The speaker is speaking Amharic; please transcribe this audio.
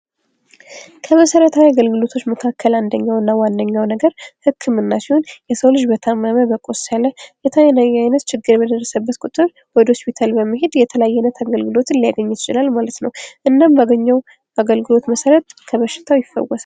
ከመሰረታዊ አገልግሎት መካከል አንደኛው እና ዋነኛው ነገረ ህክምና ሲሆን የሰው ልጅ በታመመ በቆሰለ የተለያየ አይነት ችግር በደረሰበት ቁጥር ወደ ሆስፒታል በመሄድ የተለያየ አይነት አገልግሎትን ሊያገኝ ይችላል ማለት ነው። እናም ባገኘው አገልግሎት መሰረት ከበሽታው ይፈወሳል።